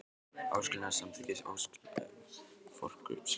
áskilnað um samþykki og áskilnað um forkaupsrétt.